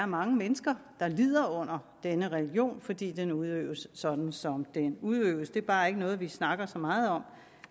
mange mennesker der lider under denne religion fordi den udøves sådan som den udøves det er bare ikke noget vi snakker så meget om